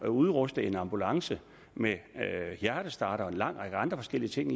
udrustet en ambulance med hjertestarter og en lang række andre forskellige ting